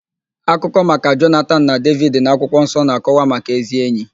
Akụkọ maka Jonatan na Devid n'akwụkwọ nsọ na-akọwa maka ézí ényì.